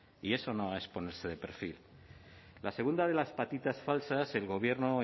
y eso no es ponerse de perfil la segunda de las patitas falsas el gobierno